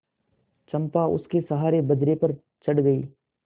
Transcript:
चंपा उसके सहारे बजरे पर चढ़ गई